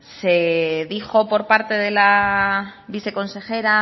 se dijo por parte de la viceconsejera